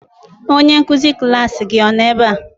Onye nkuzi klaasị gị ọ nọ ebe a?